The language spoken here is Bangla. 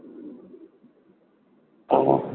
হ্যাঁ